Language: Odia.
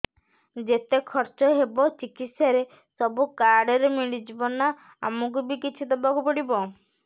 ଯେତେ ଖର୍ଚ ହେବ ଚିକିତ୍ସା ରେ ସବୁ କାର୍ଡ ରେ ମିଳିଯିବ ନା ଆମକୁ ବି କିଛି ଦବାକୁ ପଡିବ